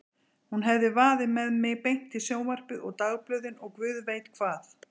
Hún hefði vaðið með mig beint í sjónvarpið og dagblöðin og guð veit hvað.